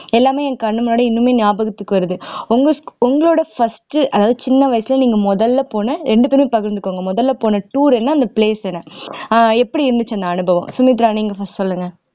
எல்லாமே என் கண்ணு முன்னாடி இன்னுமே ஞாபகத்துக்கு வருது உங்க sch உங்களோட first அதாவது சின்ன வயசுல நீங்க முதல்ல போன ரெண்டு பேரையும் பகிர்ந்துக்கோங்க முதல்ல போன tour என்ன அந்த place என்ன ஆஹ் எப்படி இருந்துச்சு அந்த அனுபவம் சுமித்ரா நீங்க first சொல்லுங்க